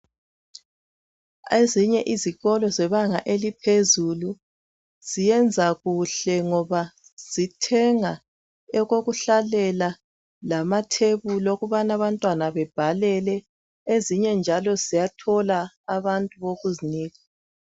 Ezinye izikolo zebanga eliphezulu ziyenza kuhle ngoba bathenga okokuhlalela lamathwbulinokubana abantwana bebhalelele. Ezinye njalo ziyathola abantu bokuzinika.